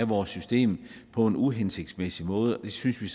vores system på en uhensigtsmæssig måde det synes vi